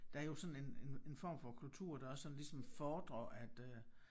Der jo sådan en en en form for kultur der også sådan ligesom fordrer at øh